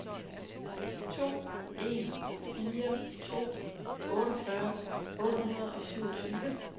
to en fire to otteogfyrre otte hundrede og syvogtyve